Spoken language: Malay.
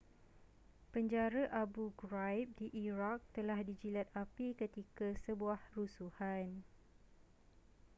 penjara abu ghraib di iraq telah dijilat api ketika sebuah rusuhan